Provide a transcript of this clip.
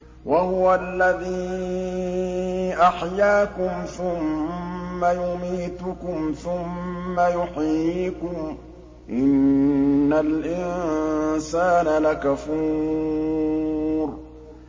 وَهُوَ الَّذِي أَحْيَاكُمْ ثُمَّ يُمِيتُكُمْ ثُمَّ يُحْيِيكُمْ ۗ إِنَّ الْإِنسَانَ لَكَفُورٌ